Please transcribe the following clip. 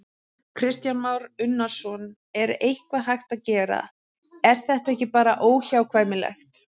Kristján Már Unnarsson: En er eitthvað hægt að gera, er þetta ekki bara óhjákvæmilegt?